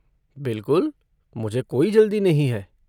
बिलकुल, मुझे कोई जल्दी नहीं है।